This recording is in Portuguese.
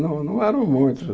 Não não eram muitos.